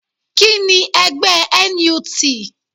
Kíni ẹgbẹ́ NUT?